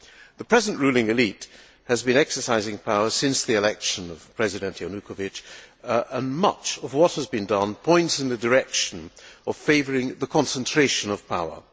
The present ruling élite has been exercising power since the election of President Yanukovych and much of what has been done points in the direction of favouring the concentration of power.